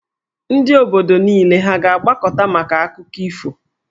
Ndị obodo niile ha a ga-agbakọta maka akụkọ ifo?